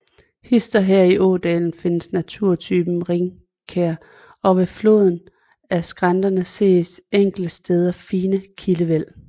Hist og her i ådalen findes naturtypen rigkær og ved foden af skrænterne ses enkelte steder fine kildevæld